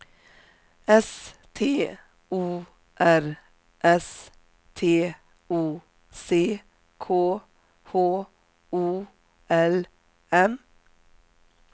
S T O R S T O C K H O L M